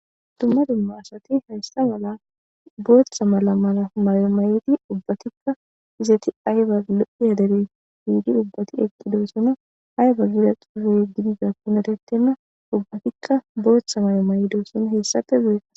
dumma dumma asati hayisa mala booththa mala mala mayo mayedi ubbatikka izati ayba lo'iya dere yiidi ubbati eqqidoosono ayba gida xufee oykkidi dizakonne erttenna ubbatikka booththa mayo mayidosona heessafe guye